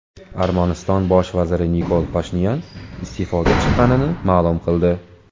Armaniston bosh vaziri Nikol Pashinyan iste’foga chiqqanini ma’lum qildi.